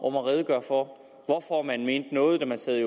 om at redegøre for hvorfor man mente noget da man sad i